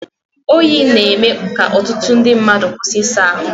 Oyi na-eme ka ọtụtụ ndị mmadụ kwụsị ịsa ahụ!